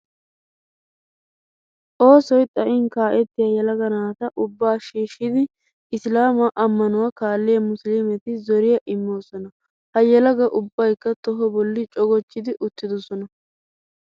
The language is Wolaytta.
Oosoy xayin kaa'ettiya yelaga naata ubbaa shiishshidi isilaamaa ammanuwa kaalliya musuluumeti zoriya immoosona. Ha yelaga ubbaykka toho bolli cogochchidi uttidosona.